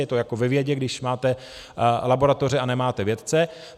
Je to jako ve vědě, když máte laboratoře a nemáte vědce.